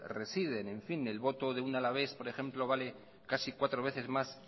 residen el voto de un alavés por ejemplo vale casi cuatro veces más